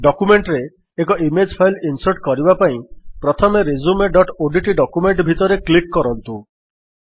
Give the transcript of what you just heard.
document ରେ ଏକ image file insert କରିବା ପାଇଁ ପ୍ରଥମେ resumeଓଡିଟି ଡକ୍ୟୁମେଣ୍ଟ୍ ଭିତରେ କ୍ଲିକ୍ କରନ୍ତୁ